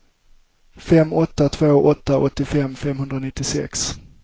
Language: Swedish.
fem åtta två åtta åttiofem femhundranittiosex